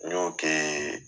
N Y'o ke